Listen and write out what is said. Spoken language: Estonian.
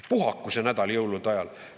Puhake see nädal jõulude ajal!